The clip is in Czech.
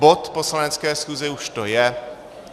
Bod poslanecké schůze už to je.